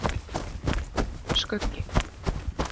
Skuggi